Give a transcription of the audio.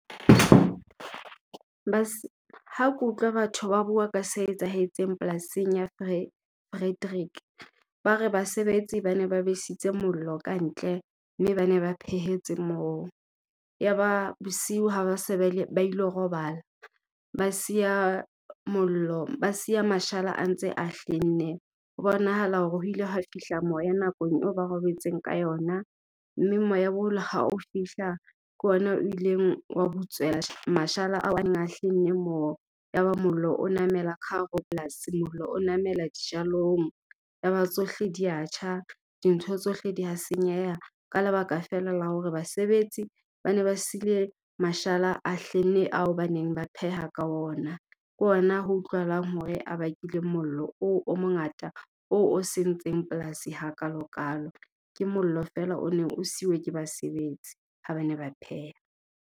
Ha ke utlwa batho ba bua ka se etsahetseng polasing ya Frederick, ba re basebetsi ba ne besitse mollo kantle mme bane ba phehetse moo. Yaba bosiu haba se ba ilo robala, ba siya mollo, ba siya mashala a ntse a hlenne. Ho bonahala hore ho ile hwa fihla moya nakong eo ba robetseng ka yona, mme moya ha o fihla ke ona o ileng wa butswela mashala ao a neng a hlenne moo. Yaba mollo o namela ka hare ho polasi, mollo o namela dijalong. Yaba tsohle di ya tjha, dintho tsohle di ya senyeha, ka lebaka feela la hore basebetsi ba ne ba siile mashala a hlenne ao baneng ba pheha ka ona. Ke ona ho utlwahalang hore a bakile mollo oo o mongata, oo o sentseng polasi hakalo-kalo. Ke mollo feela o ne o siuwe ke basebetsi ha ba ne ba pheha.